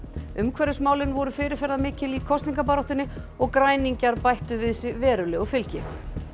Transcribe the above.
umhverfismálin voru fyrirferðarmikil í kosningabaráttunni og græningjar bættu við sig verulegu fylgi